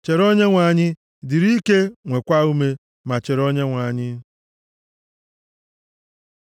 Chere Onyenwe anyị; dịrị ike, nwekwaa ume, ma chere Onyenwe anyị.